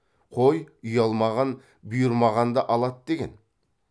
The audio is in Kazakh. қой ұялмаған бұйырмағанды алады деген